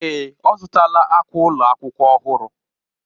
Èè,, ọ zụtala akwa ụlọ akwụkwọ ọhụrụ.